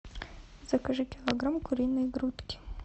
закажи килограмм куриной грудки